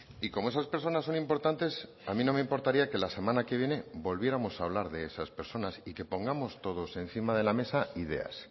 y como esas personas son importantes a mí no me importaría que la semana que viene volviéramos a hablar de esas personas y que pongamos todos encima de la mesa ideas